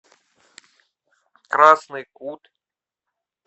красный кут